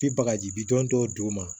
Bi bagaji bi don dɔw don ma